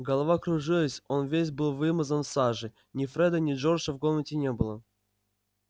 голова кружилась он весь был вымазан в саже ни фреда ни джорджа в комнате не было